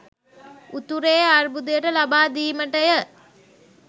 උතුරේ අර්බුදයට ලබා දීමටය.